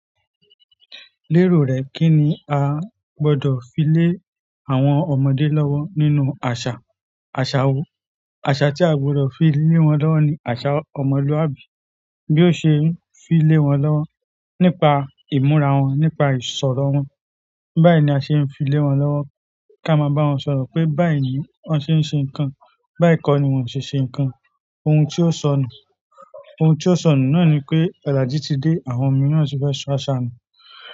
Lérò rẹ̀, kí ni a gbọdọ̀ fi lé àwọn ọmọdé lọ́wọ́ nínú àṣà? Àṣà wo? Àṣà tí a gbọdọ̀ fi lé wọn lọ́wọ́ ni àsà ọmọlúwàbí. Bí ó ṣe ń fi lé wọn lọ́wọ́ nípa ìmúra wọn, nípa ìsọ̀rọ̀ wọn. Bẹ́ẹ̀ ni a ṣe ń fi lé wọn lọ́wọ́. Ká máa bá wọn sọ̀rọ̀ pé bai ni wọ́n ṣe ń ṣe nǹkan, bai kọ́ ni wọ́n ṣe ń ṣe nǹkan. Ohun tí ó sọ nù, ohun tí ó sọ nù náà ni pé olaju ti dé, àwọn ọmọ náà sì fẹ́ sọ àṣà nù.